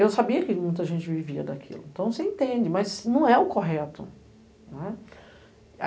Eu sabia que muita gente vivia daquilo, então você entende, mas não é o correto.